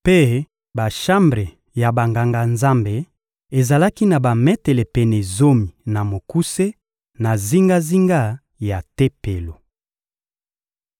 mpe bashambre ya Banganga-Nzambe ezalaki na bametele pene zomi na mokuse na zingazinga ya Tempelo.